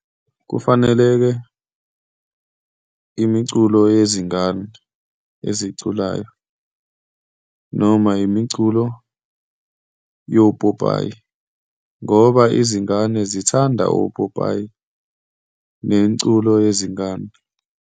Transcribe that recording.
Kufanele-ke imiculo yezingane eziyi oculayo, noma imiculo yopopayi, ngoba izingane zithanda opopayi nemiculo yezingane.